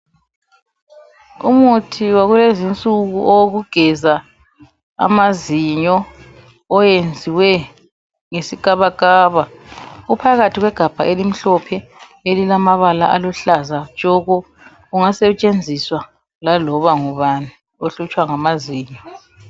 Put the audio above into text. Umuthi walezinsuku owokugeza amazinyo, owenziwe ngesikabakaba. Uphakathi kwegabha elimhlophe elilamabala aluhlaza tshoko. Ungasetshenziswa laloba ngubani ohlutshwa ngamazinyo.